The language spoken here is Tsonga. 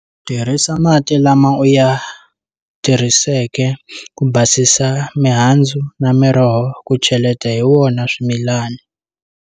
Tirhisa mati lama u ya tirhiseke ku basisa mihandzu na miroho ku cheleta hi wona swimilani.